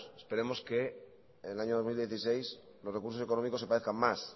esperemos que en el año dos mil dieciséis los recursos económicos se parezcan más